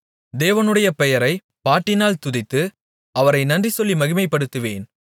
தேவனுடைய பெயரைப் பாட்டினால் துதித்து அவரை நன்றி சொல்லி மகிமைப்படுத்துவேன்